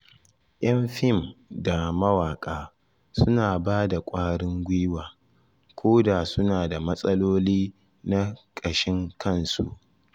Y'an fim da mawaka suna ba da kwarin gwiwa, ko da suna da matsaloli na kashin kansu.